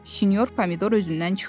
Sinyor Pomidor özündən çıxdı.